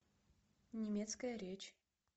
немецкая речь